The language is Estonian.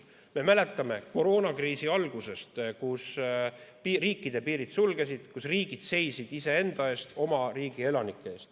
Me mäletame koroonakriisi algusest, kuidas riikide piirid sulgusid, riigid seisid iseenda eest, oma riigi elanike ees.